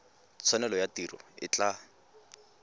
tshwanelo ya tiro e tla